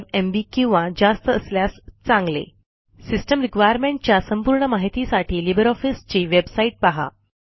512 MB किंवा जास्त असल्यास चांगले सिस्टम requirementच्या संपूर्ण माहितीसाठी लिबर ऑफिसची बेवसाईट पहा